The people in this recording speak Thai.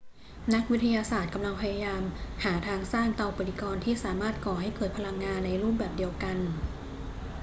นักวิทยาศาสตร์กำลังพยายามหาทางสร้างเตาปฏิกรณ์ที่สามารถก่อให้เกิดพลังงานในรูปแบบเดียวกัน